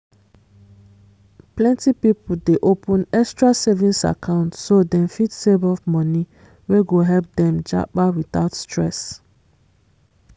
plenty people dey open extra savings account so dem fit save up money wey go help dem japa without stress